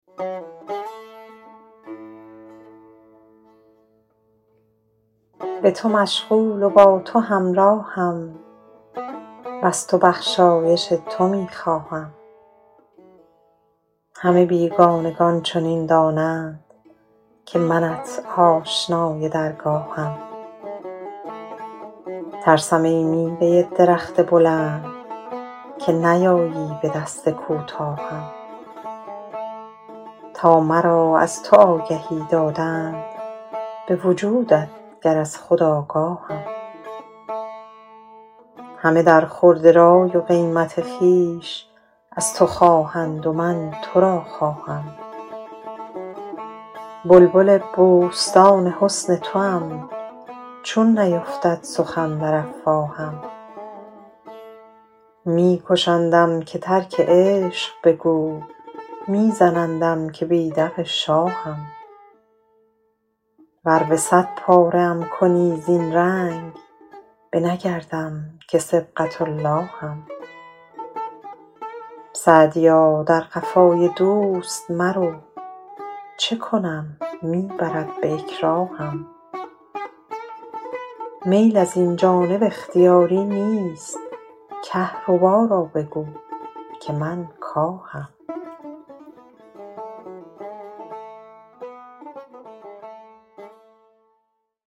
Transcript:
به تو مشغول و با تو همراهم وز تو بخشایش تو می خواهم همه بیگانگان چنین دانند که منت آشنای درگاهم ترسم ای میوه درخت بلند که نیایی به دست کوتاهم تا مرا از تو آگهی دادند به وجودت گر از خود آگاهم همه در خورد رای و قیمت خویش از تو خواهند و من تو را خواهم بلبل بوستان حسن توام چون نیفتد سخن در افواهم می کشندم که ترک عشق بگو می زنندم که بیدق شاهم ور به صد پاره ام کنی زین رنگ نه بگردم که صبغة اللهم سعدیا در قفای دوست مرو چه کنم می برد به اکراهم میل از این جانب اختیاری نیست کهربا را بگو که من کاهم